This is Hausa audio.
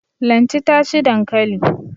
Lanti ta ci dankali.